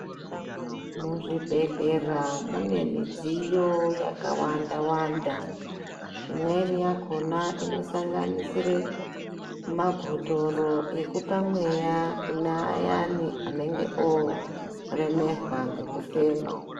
Mu zvibhedhlera mune midziyo yaka wanda wanda imweni yakona ino sanganisire mabhotoro ekupa mweya kune ayani anenge oremerwa nge kufema.